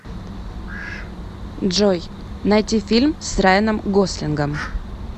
джой найти фильм с райеном гослингом